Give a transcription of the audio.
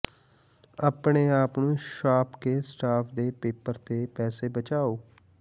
ਆਪਣੇ ਆਪ ਨੂੰ ਛਾਪ ਕੇ ਸਟਾਫ ਦੇ ਪੇਪਰ ਤੇ ਪੈਸੇ ਬਚਾਓ